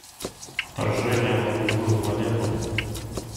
вторжение на другую планету